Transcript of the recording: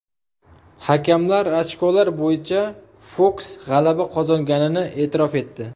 Hakamlar ochkolar bo‘yicha Foks g‘alaba qozonganini e’tirof etdi.